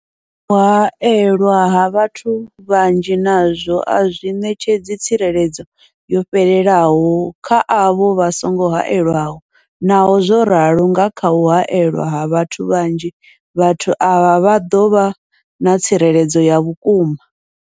U haelwa ha vhathu vhanzhi nazwo a zwi ṋetshedzi tsireledzo yo fhelelaho kha avho vha songo haelwaho, naho zwo ralo, nga kha u haelwa ha vhathu vhanzhi, vhathu avha vha ḓo vha na tsireledzo ya vhukuma.